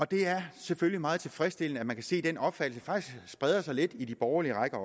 det er selvfølgelig meget tilfredsstillende at man kan se at den opfattelse faktisk spreder sig lidt i de borgerlige rækker